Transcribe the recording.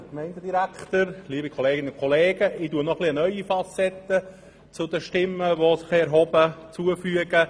Ich füge den bisherigen Voten noch eine neue Facette hinzu.